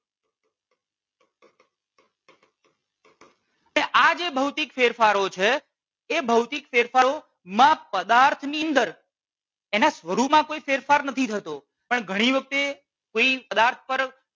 ને આ જે ભૌતીક ફેરફારો છે એ ભૌતિક ફેરફારો માં પદાર્થની અંદર એના સ્વરૂપમાં કોઈ ફેરફાર નથી થતો પણ ઘણી વખતે કોઈ પદાર્થ પર